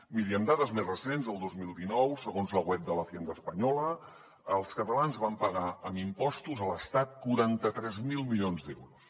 miri amb dades més recents el dos mil dinou segons la web de la hacienda els catalans van pagar amb impostos a l’estat quaranta tres mil milions d’euros